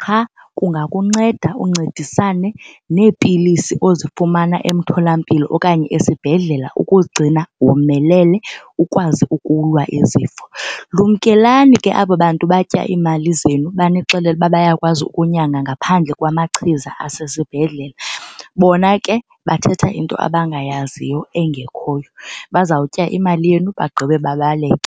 Qha kungakunceda uncedisane neepilisi ozifumana emtholampilo okanye esibhedlela ukuzigcina womelele ukwazi ukulwa izifo. Lumkelani ke aba bantu batya iimali zenu banixelele ukuba bayakwazi ukunyanga ngaphandle kwamachiza asesibhedlele. Bona ke bathetha into abangayaziyo engekhoyo. Bazawutya imali yenu bagqibe babaleke.